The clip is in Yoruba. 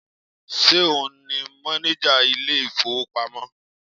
Ṣe òun ni mọ́néjà ilé ìfowópamọ́?